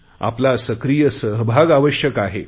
आपला सक्रीय सहभाग आवश्यक आहे